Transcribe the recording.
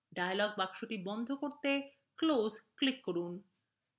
dialog box বন্ধ করতে close click করুন